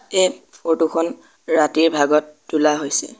এই ফৰটো খন ৰাতিৰ ভাগত তোলা হৈছে।